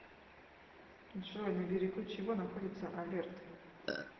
джой на берегу чего находится алерт